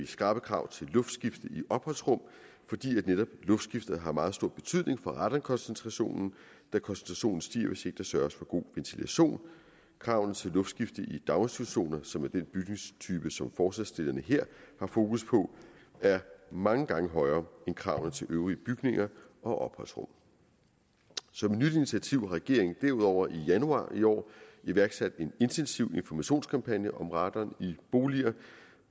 skrappe krav til luftskifte i opholdsrum fordi netop luftskifte har meget stor betydning for radonkoncentrationen da koncentrationen stiger hvis der ikke sørges for god ventilation kravene til luftskifte i daginstitutioner som er den bygningstype som forslagsstillerne her har fokus på er mange gange højere end kravene til øvrige bygninger og opholdsrum som et nyt initiativ har regeringen derudover i januar i år iværksat en intensiv informationskampagne om radon i boliger